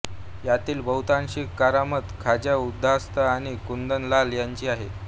यातील बहुतांशी करामत खाजा उस्ताध आणि कुंदन लाल यांची आहे